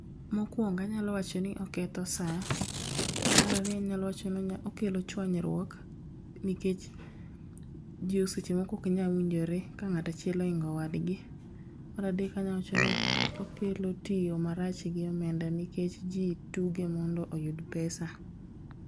Mokuongo anyalo wacho ni oketho sa. Mar ariyo anyalo wacho ni onya okelo chuanyruok nikech ji seche moko ok nyal winjore ka ng'ato achiel ohingo wadgi. Mar adek anyalo wachoni okelo tiyo marach gi omenda nikech ji tuge mondop oyud pesa.